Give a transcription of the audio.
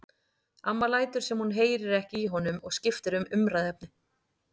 Amma lætur sem hún heyri ekki í honum og skiptir um umræðuefni.